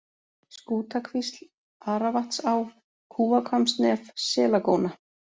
Skútakvísl, Aravatnsá, Kúahvammsnef, Selagóna